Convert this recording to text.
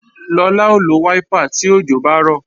Lọlá ó lo wáípà tí òjò bá rọ̀